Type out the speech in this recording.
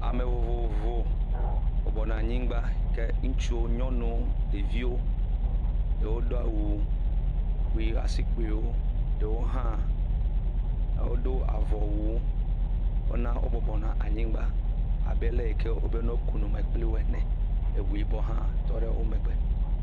Ame vovovo bɔbɔnɔ anyigba ke ŋutsuwo, nyɔnuwo, ɖeviwo ɖewo do awu kpui asikpuiwo, ɖewo hã wodo avɔwu. Wona wo bɔbɔnɔ anyigba abe le yi ke wobe ne woku nu me kpli wo ene eŋu yibɔ hã tɔ ɖe wo megbe.